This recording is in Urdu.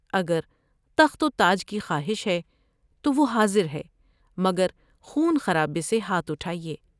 اگر تخت و تاج کی خواہش ہے تو وہ حاضر ہے مگر خون خرابے سے ہاتھ اٹھائے ۔